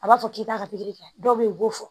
A b'a fɔ k'i t'a ka pikiri kɛ dɔw bɛ yen u b'o fɔ